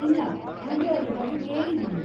ಇಲ್ಲಾ, ಆದ್ರೆ ಅದ್ರ ಬಗ್ಗೆ ಕೇಳಿದೀನಿ.